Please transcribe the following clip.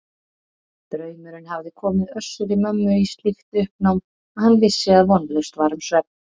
Draumurinn hafði komið Össuri-Mömmu í slíkt uppnám að hann vissi að vonlaust var um svefn.